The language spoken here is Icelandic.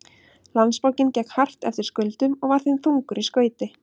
Landsbankinn gekk hart eftir skuldum og var þeim þungur í skauti.